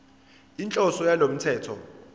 inhloso yalo mthetho